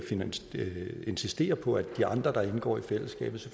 insistere på at de andre der indgår i fællesskabet